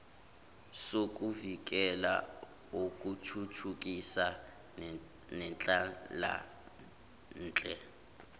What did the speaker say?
sokuvikela sokuthuthukisa nenhlalanhle